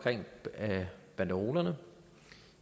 banderolerne